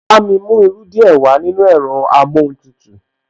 Bámi mú irú díẹ̀ wàá nínú ẹ̀rọ amóhuntutù